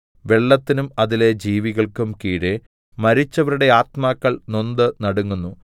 വെള്ളത്തിനും അതിലെ ജീവികൾക്കും കീഴെ മരിച്ചവരുടെ ആത്മാക്കൾ നൊന്ത് നടുങ്ങുന്നു